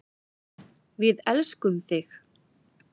Við elskum þig.